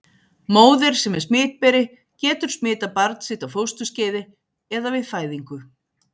Móðir sem er smitberi getur smitað barn sitt á fósturskeiði eða við fæðingu.